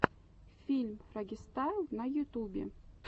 фильм фрогистайл на ютубе